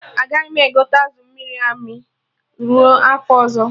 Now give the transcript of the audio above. Agaghị m egote azụ amịrị amị ruo afọ ọzọ